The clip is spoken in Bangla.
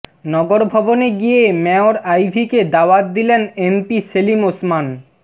নগরভবনে গিয়ে মেয়র আইভীকে দাওয়াত দিলেন এমপি সেলিম ওসমান